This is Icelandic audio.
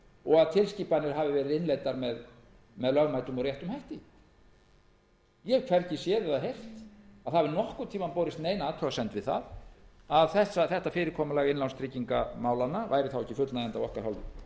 og að tilskipanir hafi verið innleiddar með lögmætum og réttum hætti ég hef hvergi séð eða heyrt að nokkurn tíma hafi borist athugasemd við það að þetta fyrirkomulag innlánstryggingamála væri ekki fullnægjandi